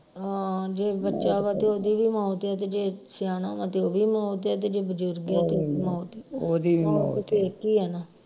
ਆਹ ਜੇ ਬੱਚਿਆਂ ਵਾ ਤੇ ਉਹਦੀ ਵੀ ਮੌਤ ਆ ਤੇ ਜੇ ਸਿਆਣਾ ਵਾ ਤੇ ਉਹੀ ਵੀ ਮੌਤ ਆ ਤੇ ਜੇ ਬਜ਼ੁਰਗ ਆ ਤੇ ਮੌ ਈ ਮੌਤ ਇਕ ਹੀ ਆ ਨਾ